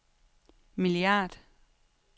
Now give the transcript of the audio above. milliard